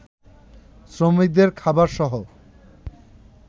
শ্রমিকদের খাবারসহ